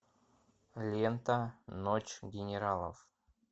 лента ночь генералов